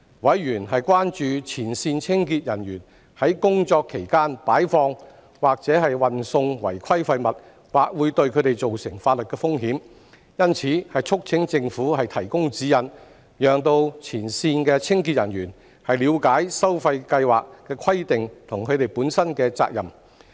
委員關注前線清潔人員在工作期間擺放和運送違規廢物，或會對他們造成法律風險，因此促請政府提供指引，讓前線清潔人員了解收費計劃的規定和他們本身的責任。